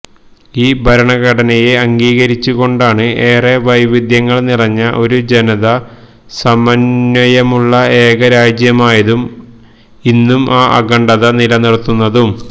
ഈ ഭരണഘടനയെ അംഗീകരിച്ചുകൊണ്ടാണ് ഏറെ വൈരുദ്ധ്യങ്ങള് നിറഞ്ഞ ഒരു ജനത സമന്വയമുള്ള ഏക രാജ്യമായതും ഇന്നും ആ അഖണ്ഡത നിലനിര്ത്തുന്നതും